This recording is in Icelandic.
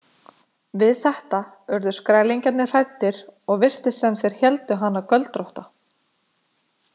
Við þetta urðu skrælingjarnir hræddir og virtist sem þeir héldu hana göldrótta.